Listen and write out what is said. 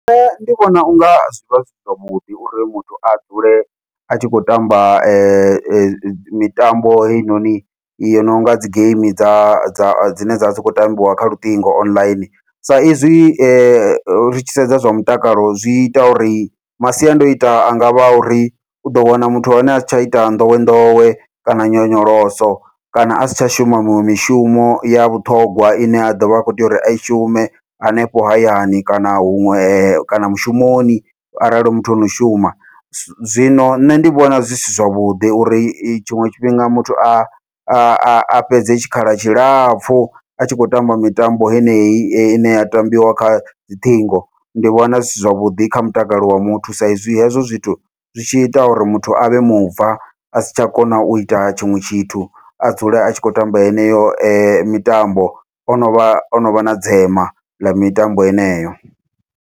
Nṋe ndi vhona unga zwivha zwi zwavhuḓi uri muthu a dzule a tshi khou tamba mitambo heinoni yo nonga dzi geimi dza dza dzine dzavha dzi khou tambiwa kha luṱingo online, sa izwi ri tshi sedza zwa mutakalo zwi ita uri masiandoitwa anga vha uri uḓo wana muthu wa hone asi tsha ita nḓowenḓowe kana nyonyoloso kana a si tsha shuma miṅwe mishumo ya vhuṱhongwa ine ya ḓovha i kho tea uri ai shume hanefho hayani, kana huṅwe kana mushumoni arali hu muthu ono shuma. Zwino nṋe ndi vhona zwi si zwavhuḓi uri tshiṅwe tshifhinga muthu a a fhedze tshikhala tshilapfhu a tshi khou tamba mitambo heneyi, heneyi ine ya tambiwa kha dziṱhingo ndi vhona zwi si zwavhuḓi kha mutakalo wa muthu, sa izwi hezwo zwithu zwi tshi ita uri muthu avhe mubva asi tsha kona uita tshiṅwe tshithu a dzule a tshi khou tamba yeneyo mitambo, ono vha ono vha na dzema ḽa mitambo heneyo.